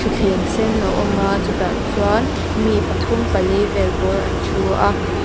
thuthleng sen a awm a chutah chuan mi pathum pali vel bawr an thu a.